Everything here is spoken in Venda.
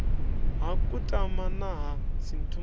ha kutama na ha sinthumule